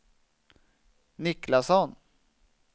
Niklasson